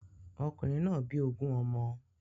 Okùnrin náà bí ogun ọmọ.